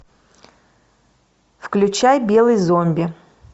включай белый зомби